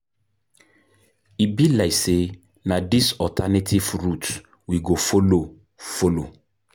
E be like sey na dis alternative route we go folo. folo.